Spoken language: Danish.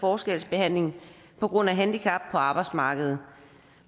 forskelsbehandling på grund af handicap på arbejdsmarkedet